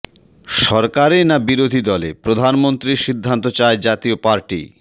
সরকারে না বিরোধী দলে প্রধানমন্ত্রীর সিদ্ধান্ত চায় জাতীয় পার্টি